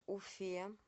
уфе